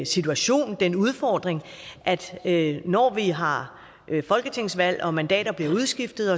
situation den udfordring at når vi har folketingsvalg og mandater bliver udskiftet